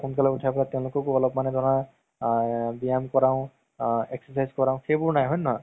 উথাই অলপ মানে তেওলোককও ধৰা আ ব্যায়াম কৰাও আ exercise কৰাও সেইবোৰ নাই হয় নে নহয়